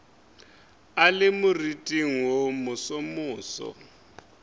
a le moriting wo mosomoso